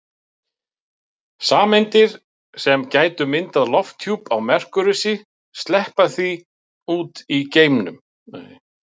Sameindir sem gætu myndað lofthjúp á Merkúríusi sleppa því út í geiminn.